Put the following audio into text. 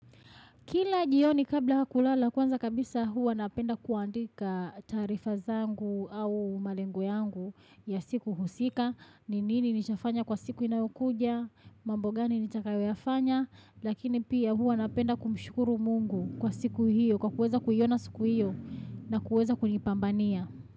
Kila njioni kabla ha kulala, kwanza kabisa huwa napenda kuandika taarifa zangu au malengo yangu ya siku husika. Ni nini nishafanya kwa siku inayokuja?, mambo gani nitakayoyafanya?, lakini pia huwa napenda kumushukuru Mungu, kwa siku hiyo kwa kuweza kuiona siku hiyo, na kuweza kunipambania.